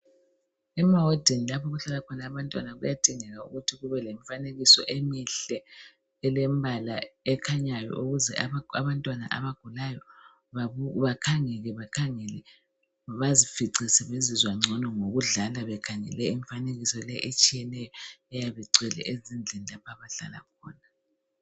Emawadini lapho okuhlala khona abantwana kuyadingeka ukuthi kubelemfanekiso emihle elembala ekhanyayo ukuze abantwana abagulayo bakhangele bazifice sebezizwa ngcono ngokuhlala bekhangele imfanekiso etshiyeneyo eyabe ingcwele ezindlini lapho abahlala khona